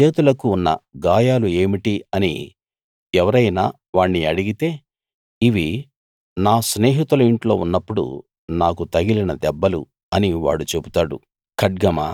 నీ చేతులకు ఉన్న గాయాలు ఏమిటి అని ఎవరైనా వాణ్ణి అడిగితే ఇవి నా స్నేహితుల ఇంట్లో ఉన్నప్పుడు నాకు తగిలిన దెబ్బలు అని వాడు చెబుతాడు